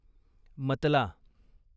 मतला